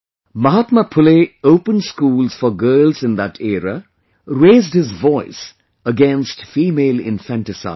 Mahatma Phule opened schools for girls in that era; raised his voice against female infanticide